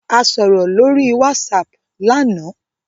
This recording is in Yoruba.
A soro lori WhatsApp làná.